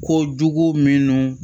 Ko jugu minnu